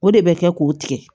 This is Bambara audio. O de bɛ kɛ k'o tigɛ